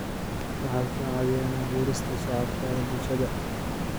Waxay ka caawiyaan abuurista shabakadaha bulshada.